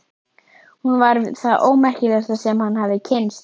Hún var það ómerkilegasta sem hann hafði kynnst.